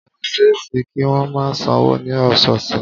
Ó ṣe é ṣe kí wọ́n máa sanwó ní ọ̀sọ̀ọ̀sè